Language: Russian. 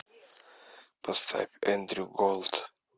поставь эндрю голд